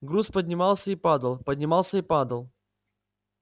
груз поднимался и падал поднимался и падал